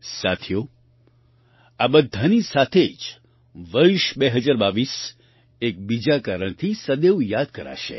સાથીઓ આ બધાની સાથે જ વર્ષ 2022 એક બીજા કારણથી સદૈવ યાદ કરાશે